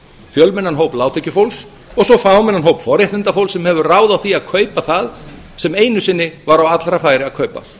fjölmennan hóp lágtekjufólks og svo fámennan hóp forréttindafólks sem hefur ráð á því að kaupa það sem einu sinni var á allra færi að kaupa